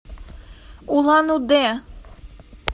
улан удэ